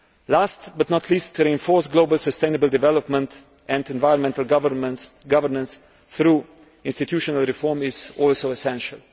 Last but not least, to reinforce global sustainable development and environmental governance through institutional reform is also essential.